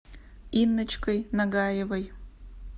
инночкой нагаевой